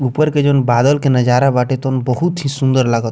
ऊपर के जोन बादल के नज़ारा बाटे तोन बहुत ही सुन्दर लागता।